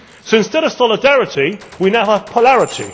So instead of solidarity, we now have polarity.